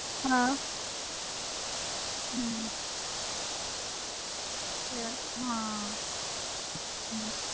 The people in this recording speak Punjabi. ਹਾਂ ਹਮ ਯਾਰ ਹਾਂ ਹਮ